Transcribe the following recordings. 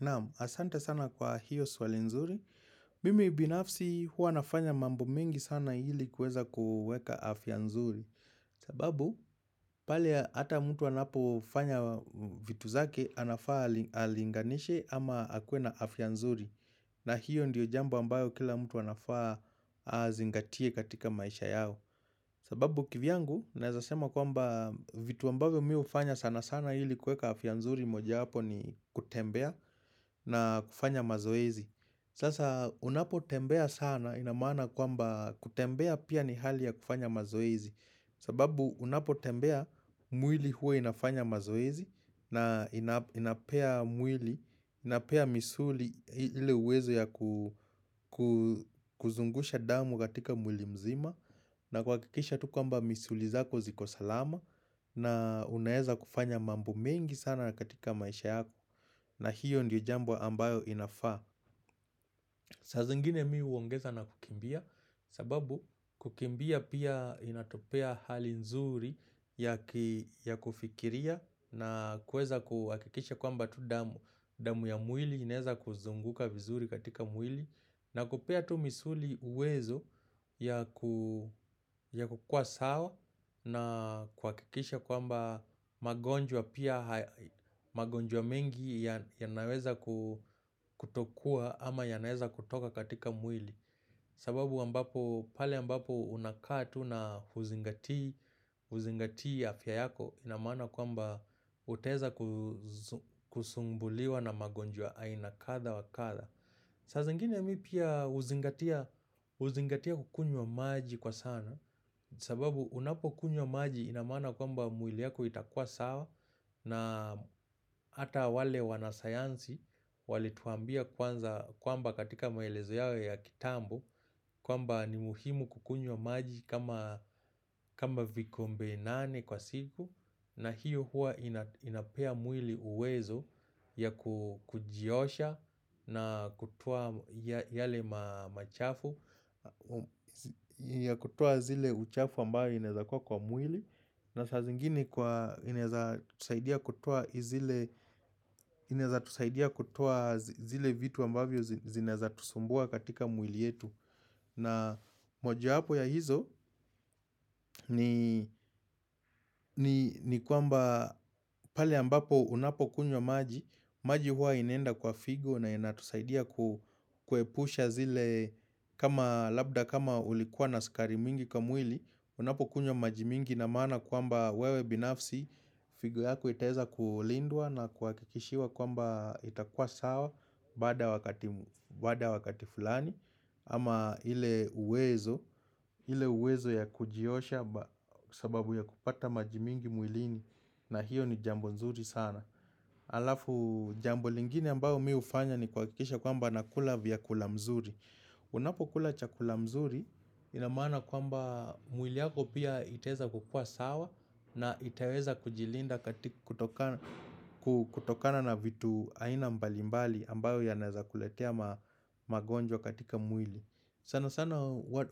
Naam, asante sana kwa hiyo swali nzuri, mimi binafsi hua nafanya mambo mengi sana hili kuweza kuweka afya nzuri sababu, pale hata mtu anapo fanya vitu zake, anafaa ali alinganishe ama akuwe na afya nzuri na hiyo ndiyo jambo ambayo kila mtu anafaa azingatie katika maisha yao sababu kivyangu, naezasema kwamba vitu ambavo mi fanya sana sana ili kuweka afya nzuri moja yapo ni kutembea na kufanya mazoezi Sasa unapotembea sana ina maana kwamba kutembea pia ni hali ya kufanya mazoezi sababu unapotembea mwili huwa inafanya mazoezi na ina inapea mwili, inapea misuli ili uwezo ya ku kuzungusha damu katika mwili mzima na kuhakikisha tu kwamba misuli zako ziko salama na unaeza kufanya mambo mengi sana katika maisha yako na hiyo ndiyo jambo ambayo inafaa saa zingine mi huongeza na kukimbia sababu kukimbia pia inatupea hali nzuri ya kufikiria na kuweza kuhakikisha kwamba tu damu, damu ya mwili inaeza kuzunguka vizuri katika mwili na kupea tu misuli uwezo ya kukua sawa na kuhakikisha kwamba magonjwa pia magonjwa mingi ya naweza kutokua ama yanaweza kutoka katika mwili sababu ambapo pale mbapo unakaa tu na huzingatii afya yako ina maana kwamba uteza kusumbuliwa na magonjwa ya aina kadha wa kadha. Saa zingine mi pia huzingatia huzingatia kukunywa maji kwa sana, sababu unapo kunywa maji ina maana kwamba mwili yako itakua sawa, na ata wale wanasayansi wali tuambia kwanza kwamba katika maelezo yao ya kitambo, kwamba ni muhimu kukunywa maji kama kama vikombe nane kwa siku, na hiyo hua ina inapea mwili uwezo ya kujiosha na kutoa yale machafu ya kutoa zile uchafu ambaye inezakuwa kwa mwili na saa zingine kwa inaeza tusaidia kutoa zile vitu ambavyo zi zinaeza tusumbua katika mwili yetu, na moja hapo ya hizo ni kwamba pale ambapo unapo kunywa maji, maji huwa inenda kwa figo na inatusaidia ku kuepusha zile kama labda kama ulikuwa na sukari mingi kwa mwili Unapo kunywa maji mingi ina maana kwamba wewe binafsi figo yako itaeza kulindwa na kuakikishiwa kwamba itakua sawa baada wakati fulani ama ile uwezo ile uwezo ya kujiosha sababu ya kupata maji mingi mwlini na hiyo ni jambo nzuri sana Alafu jambo lingine ambao mi hufanya ni kuhakikisha kwamba nakula vyakula mzuri Unapo kula chakula mzuri ina maana kwamba mwili yako pia itaeza kukua sawa na itaweza kujilinda katika kutokana kutokana na vitu aina mbali mbali ambayo yanaeza kuletea mamagonjwa katika mwili. Sana sana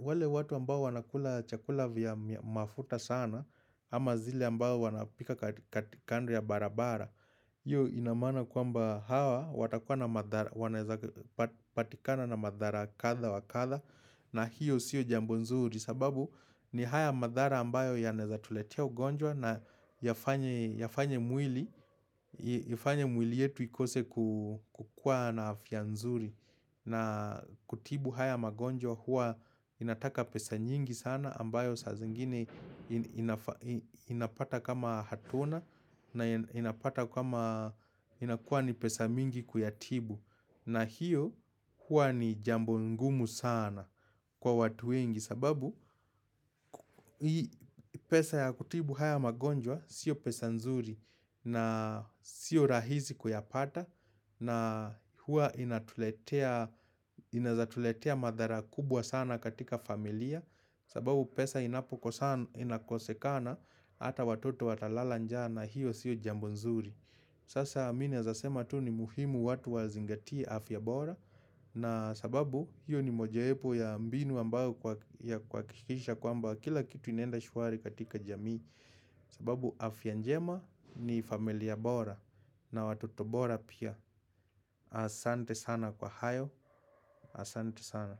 wale watu ambao wanakula chakula vya mafuta sana ama zile ambao wanapika katika kandri ya barabara Iyo ina maana kwamba hawa watakuwa na madhara wanaweza patikana na madhara kadha wa kadha na hiyo siyo jambo nzuri sababu ni haya madhara ambayo ya naeza tuletea ugonjwa na yafanye yafanye mwili ifanye mwili yetu ikose kukua na afya nzuri na kutibu haya magonjwa huwa inataka pesa nyingi sana ambayo saa zingine inapata kama hatuna na inapata kama inakuwa ni pesa mingi kuyatibu. Na hiyo huwa ni jambo ngumu sana kwa watu wengi sababu hii pesa ya kutibu haya magonjwa sio pesa nzuri na sio rahisi kuyapata. Na hua ina tuletea inaweza tuletea madhara kubwa sana katika familia sababu pesa inapoko sana inakosekana Hata watoto watalala njaa hiyo siyo jambo nzuri Sasa mimi naezasema tu ni muhimu watu wazingatie afya bora na sababu hiyo ni mojayepo ya mbinu ambayo kuha ya kuhakikisha kwa lmba kila kitu inaenda shwari katika jamii sababu afya njema ni familia bora na watoto bora pia Asante sana kwa hayo Asante sana.